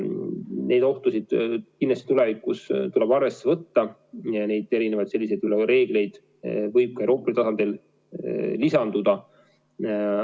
Neid ohtusid kindlasti tulevikus tuleb arvesse võtta, neid erinevaid reegleid võib ka Euroopa Liidu tasandil veel lisanduda.